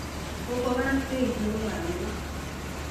Kokwo barak beit nebo badek.